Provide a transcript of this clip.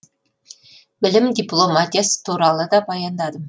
білім дипломатиясы туралы да баяндадым